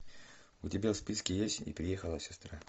у тебя в списке есть и приехала сестра